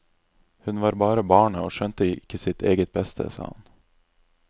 Hun var bare barnet og skjønte ikke sitt eget beste, sa han.